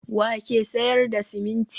wa ke sayar da siminti?